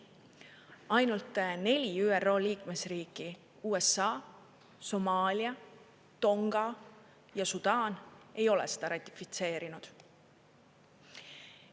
Ainult neli ÜRO liikmesriiki – USA, Somaalia, Tonga ja Sudaan – ei ole seda ratifitseerinud.